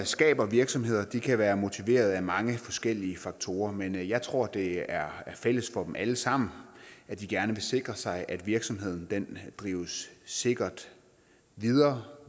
skaber virksomheder kan være motiveret af mange forskellige faktorer men jeg tror at det er fælles for dem alle sammen at de gerne vil sikre sig at virksomheden drives sikkert videre